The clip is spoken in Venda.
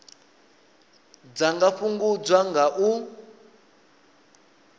dza nga fhungudzwa nga u